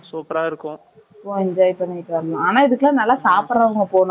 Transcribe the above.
Enjoy பண்ணிட்டு வந்தோம். ஆனா, இதுக்கெல்லாம், நல்லா சாப்பிடறவங்க Poganum , அதான் worth இல்லையா?